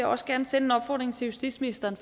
også gerne sende en opfordring til justitsministeren